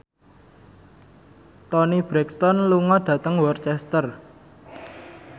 Toni Brexton lunga dhateng Worcester